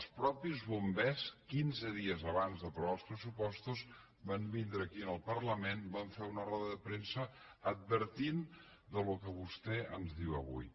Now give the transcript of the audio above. els mateixos bombers quinze dies abans d’aprovar els pressupostos van vindre aquí al parlament i van fer una roda de premsa advertint del que vostè ens diu avui